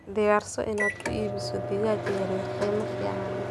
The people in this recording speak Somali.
Diyaarso inaad ku iibiso digaagga yaryar qiimo fiican.